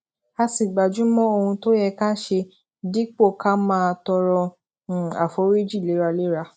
a sì gbájú mó ohun tó yẹ ká ṣe dípò ká máa tọrọ um àforíjì léraléra